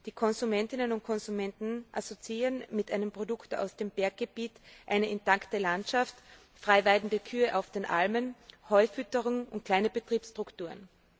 Die Konsumentinnen und Konsumenten assoziieren mit einem Produkt aus dem Berggebiet eine intakte Landschaft, frei weidende Kühe auf den Almen, Heufütterung und kleine Betriebsstrukturen.